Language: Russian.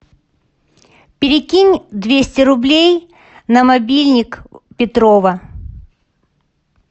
перекинь двести рублей на мобильник петрова